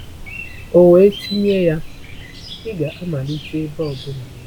Ọ wee tinye ya, Ị ga-amalite ebe ọ bụla.